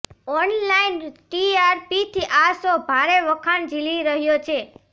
online ટીઆરપીથી આ show ભારે વખાણ જીલી રહ્યો છે